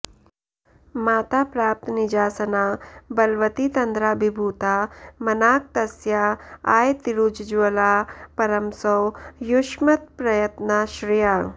माता प्राप्तनिजासना बलवती तन्द्राभिभूता मनाक् तस्या आयतिरुज्ज्वला परमसौ युष्मत्प्रयत्नाश्रया